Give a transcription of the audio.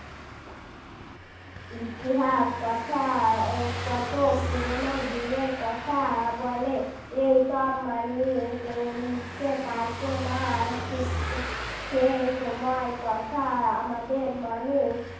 ইতিহাস কথা কত পুরনো দিনের কথা বলে এই সব মানুষ লিখতে পারত না আর ঠিক সেই সময়ের কথা আমাদের মানুষ